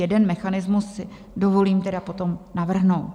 Jeden mechanismus si dovolím tedy potom navrhnout.